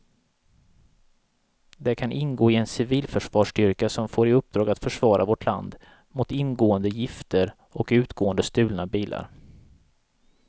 De kan ingå i en civilförsvarsstyrka som får i uppdrag att försvara vårt land mot ingående gifter och utgående stulna bilar.